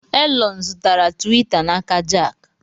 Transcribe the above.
Elon zụtara Tiwita n'aka Jack.